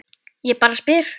Ég bara spyr